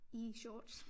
I shorts